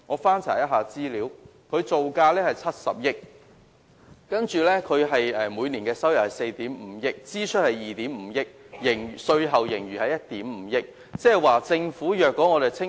翻查資料，青嶼幹線造價70億元，每年收入為4億 5,000 萬元，支出為2億 5,000 萬元，稅後盈餘是1億 5,000 萬元。